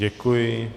Děkuji.